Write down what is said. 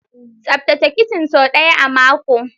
Tsaftace kicin sau ɗaya a mako!